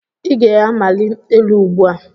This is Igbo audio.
Ị ga-amali elu ugbu a.!